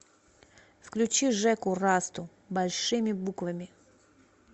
включи жеку расту большими буквами